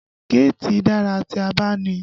Géètì dára tí a bá ní i